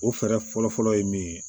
O fɛɛrɛ fɔlɔ fɔlɔ ye min ye